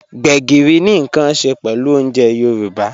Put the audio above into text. Gbegírí ni nkan ṣẹ pẹlú ọ̀unjè Yorùbá.